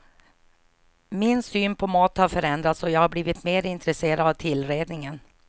Min syn på mat har förändrats och jag har blivit mer intresserad av tillredningen.